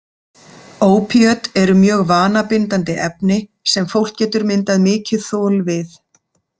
Ópíöt eru mjög vanabindandi efni sem fólk getur myndað mikið þol við.